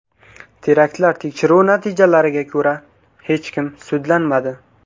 Teraktlar tekshiruvi natijalariga ko‘ra, hech kim sudlanmadi.